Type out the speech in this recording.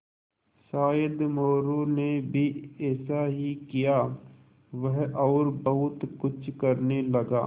शायद मोरू ने भी ऐसा ही किया वह और बहुत कुछ करने लगा